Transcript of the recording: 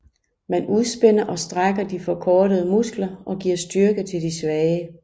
Man udspænder og strækker de forkortede muskler og giver styrke til de svage